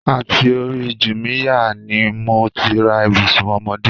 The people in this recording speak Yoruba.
Àti òri Júmíyà ni mò ti rà Ibùsún ọ́mọ̀dẹ